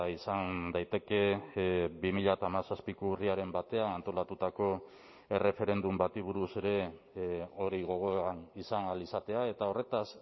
izan daiteke bi mila hamazazpiko urriaren batean antolatutako erreferendum bati buruz ere hori gogoan izan ahal izatea eta horretaz